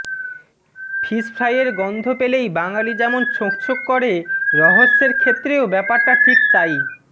ফিশফ্রাইয়ের গন্ধ পেলেই বাঙালি যেমন ছোঁক ছোঁক করে রহস্যের ক্ষেত্রেও ব্যাপারটা ঠিক তাই